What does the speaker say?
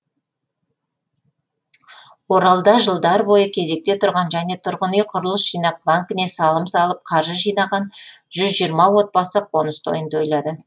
оралда жылдар бойы кезекте тұрған және тұрғын үй құрылыс жинақ банкіне салым салып қаржы жинаған жүз жиырма отбасы қоныс тойын тойлады